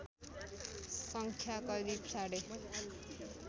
सङ्ख्या करिव साढे